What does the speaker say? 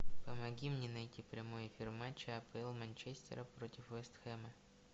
помоги мне найти прямой эфир матча апл манчестера против вест хэма